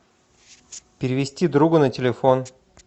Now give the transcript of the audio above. перевести другу на телефон